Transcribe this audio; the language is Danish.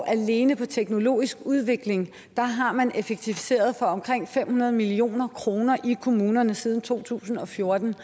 alene ved teknologisk udvikling har man effektiviseret for omkring fem hundrede million kroner i kommunerne siden to tusind og fjorten